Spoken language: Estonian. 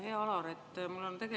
Hea Alar!